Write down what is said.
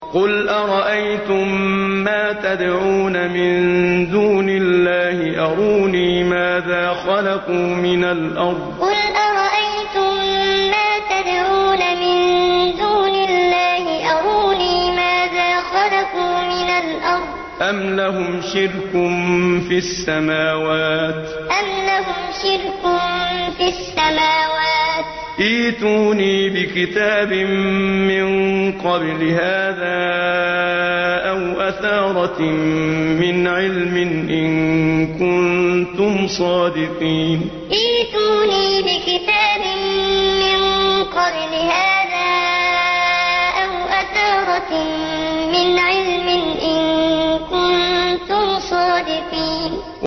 قُلْ أَرَأَيْتُم مَّا تَدْعُونَ مِن دُونِ اللَّهِ أَرُونِي مَاذَا خَلَقُوا مِنَ الْأَرْضِ أَمْ لَهُمْ شِرْكٌ فِي السَّمَاوَاتِ ۖ ائْتُونِي بِكِتَابٍ مِّن قَبْلِ هَٰذَا أَوْ أَثَارَةٍ مِّنْ عِلْمٍ إِن كُنتُمْ صَادِقِينَ قُلْ أَرَأَيْتُم مَّا تَدْعُونَ مِن دُونِ اللَّهِ أَرُونِي مَاذَا خَلَقُوا مِنَ الْأَرْضِ أَمْ لَهُمْ شِرْكٌ فِي السَّمَاوَاتِ ۖ ائْتُونِي بِكِتَابٍ مِّن قَبْلِ هَٰذَا أَوْ أَثَارَةٍ مِّنْ عِلْمٍ إِن كُنتُمْ صَادِقِينَ